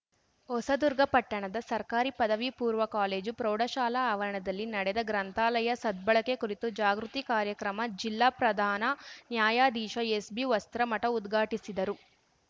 ಹೊಸದುರ್ಗ ಪಟ್ಟಣದ ಸರ್ಕಾರಿ ಪದವಿ ಪೂರ್ವ ಕಾಲೇಜು ಪ್ರೌಢಶಾಲಾ ಆವರಣದಲ್ಲಿ ನಡೆದ ಗ್ರಂಥಾಲಯ ಸದ್ಬಳಕೆ ಕುರಿತು ಜಾಗೃತಿ ಕಾರ್ಯಕ್ರಮ ಜಿಲ್ಲಾ ಪ್ರಧಾನ ನ್ಯಾಯಾಧೀಶ ಎಸ್‌ಬಿವಸ್ತ್ರಮಠ ಉದ್ಘಾಟಿಸಿದರು